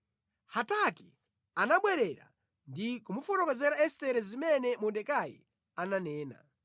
Hataki anabwerera ndi kumufotokozera Estere zimene Mordekai ananena.